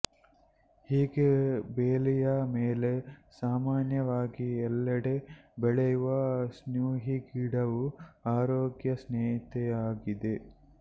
ಹೀಗೆ ಬೇಲಿಯ ಮೇಲೆ ಸಾಮಾನ್ಯವಾಗಿ ಎಲ್ಲೆಡೆ ಬೆಳೆಯುವ ಸ್ನೂಹಿಗಿಡವು ಆರೋಗ್ಯ ಸ್ನೇಹಿಯಾಗಿದೆ